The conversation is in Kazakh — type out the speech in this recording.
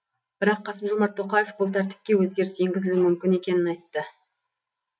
бірақ қасым жомарт тоқаев бұл тәртіпке өзгеріс енгізілуі мүмкін екенін айтты